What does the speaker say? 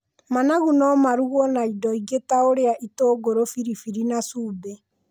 Managu no marugwo na indo ingĩ ta ũrĩa itũngũrũ, biribiri na cumbĩ.